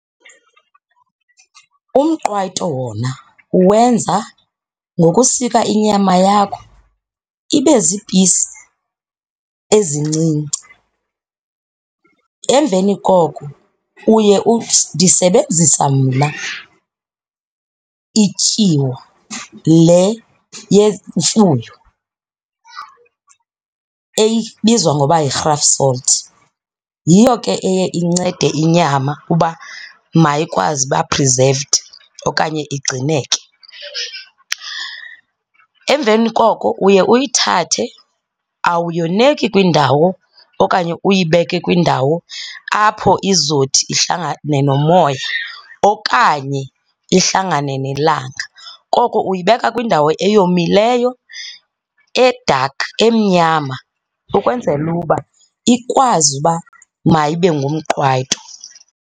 Umqwayito wona uwenza ngokusika inyama yakho ibe ziipisi ezincinci. Emveni koko uye ndisebenzisa mna ityiwa le yemfuyo ebizwa ngoba yirhafu salt, yiyo ke eye incede inyama uba mayikwazi uba-preserved okanye igcineke. Emveni koko uye uyithathe, awuyoneki kwindawo okanye uyibeke kwindawo apho izothi ihlangane nomoya okanye ihlangane nelanga. Koko uyibeka kwindawo eyomileyo, e-dark, emnyama ukwenzela uba ikwazi uba mayibe ngumqwayito.